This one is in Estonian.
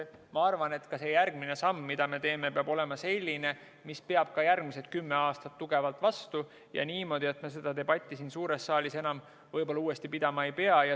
Ma arvan, et see järgmine samm, mida me teeme, peab olema selline, mis peab ka järgmised kümme aastat tugevalt vastu ja niimoodi, et me seda debatti siin suures saalis enam uuesti pidama ei pea.